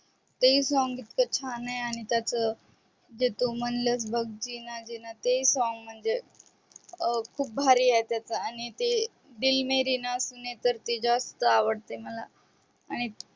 ते song इतक छान आहे आणि त्याच ते तू म्हणलस बघ ते song म्हणजे खूप भारी आहे त्याच आणि ते दिल मेरी ना सूने तर ते जास्त आवडत मला आणि